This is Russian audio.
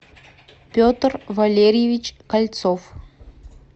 петр валерьевич кольцов